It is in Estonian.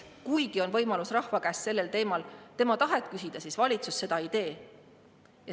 Kuigi on võimalus rahva käest sellel teemal tema tahet küsida, siis valitsus seda ei tee.